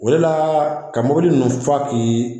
wala , ka mobili ninnu fa k'i